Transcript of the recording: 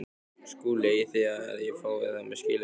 SKÚLI: Eigið þér við að ég fái það með skilyrðum?